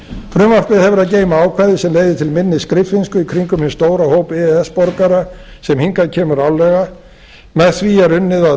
frumvarpið hefur að geyma ákvæði sem leiða til minni skriffinsku í kringum hinn stóra hóp e e s borgara sem hingað kemur árlega með því er unnið að